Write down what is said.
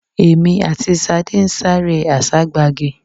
Èmi àti Sade n sare àságbagi